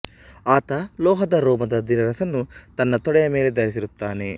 ಆತ ಲೋಹದ ರೋಮದ ದಿರಸನ್ನು ತನ್ನ ತೊಡೆಯ ಮೇಲೆ ಧರಿಸಿರುತ್ತಾನೆ